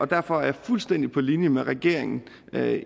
derfor er jeg fuldstændig på linje med regeringen med